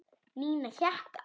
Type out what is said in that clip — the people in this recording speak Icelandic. Nína hékk á honum.